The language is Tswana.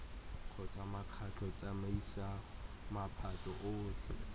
kgotsa mokgatlho tsamaiso maphata otlhe